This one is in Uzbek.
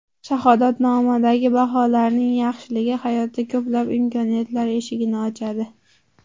Shahodatnomadagi baholarning yaxshiligi hayotda ko‘plab imkoniyatlar eshigini ochadi.